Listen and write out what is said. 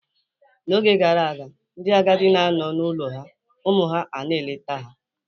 N'oge gara aga, ndị agadi na-anọ n'ụlọ ha ụmụ ha ana-eleta ha.